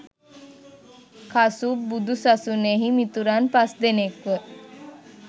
කසුප් බුදු සසුනෙහි මිතුරන් පස් දෙනෙක්ව